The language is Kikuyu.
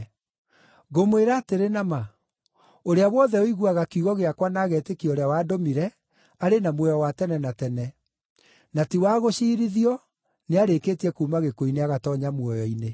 “Ngũmwĩra atĩrĩ na ma, ũrĩa wothe ũiguaga kiugo gĩakwa na agetĩkia ũrĩa wandũmire, arĩ na muoyo wa tene na tene; na ti wa gũciirithio nĩarĩkĩtie kuuma gĩkuũ-inĩ agatoonya muoyo-inĩ.